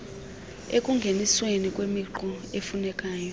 ekungenisweni kwemiqulu efunekayo